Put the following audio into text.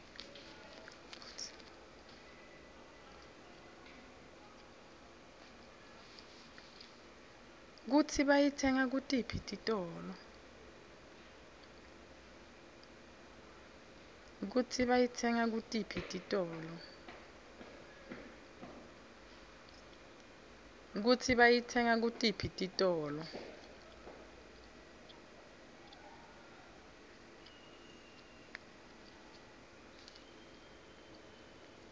kutsi bayitsenga kutiphi titolo